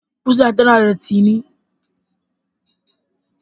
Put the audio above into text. Ƙusa tana da tsini.